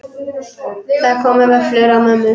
Það komu vöflur á mömmu.